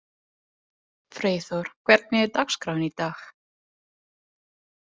Freyþór, hvernig er dagskráin í dag?